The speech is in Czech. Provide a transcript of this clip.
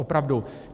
Opravdu.